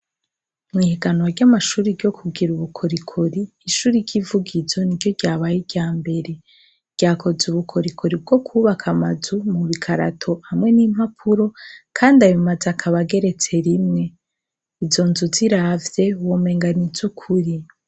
Mu higanwa ry’amashure ryo kugira ubukorikori, ishure ry’ivugizo niryo ryabaye ryambere, ryakoze ubukorikori bwo kubaka amazu mu bikarato hamwe n’impapuro, kandi ayo mazu akaba ageretse rimwe, izo nzu uziravye womenga n’izukuri.